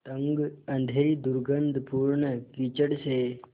तंग अँधेरी दुर्गन्धपूर्ण कीचड़ से